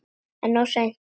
En of seinn.